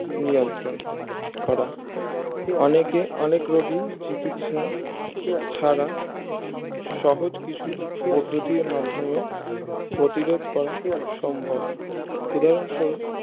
নিয়ন্ত্রণ করা অনেকে অনেক রুগী চিকিৎসা ছাড়া সহজ কিছু পদ্ধতির মাধ্যমে প্রতিরোধ করা সম্ভব উদাহরণ স্বরূপ